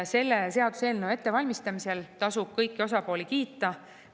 Selle seaduseelnõu ettevalmistamise eest tasub kõiki osapooli kiita.